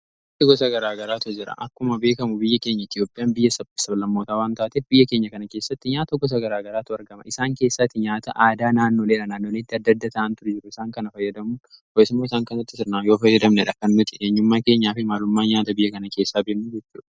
aaai tokko sagaraa garaatu jira akkuma beekamu biyya keenya itiyoopiyaan biyya ssabalammootaa wan taatee biyya keenya kana keessatti nyaa tokko sagaraa garaatu argama isaan keessaatti nyaata aadaa naanno leela naandoonitti addadda ta'an tura jiru isaan kana fayyadamuu ho'esmoo isaan kanatti sirnaan yoo fayyadamne dhakkan mitiidheenyummaa keenyaa fi maalummaan nyaata biyya kana keessaa biemmu gitu